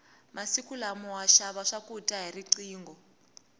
masiku lama wa xava swakudya hi riqingho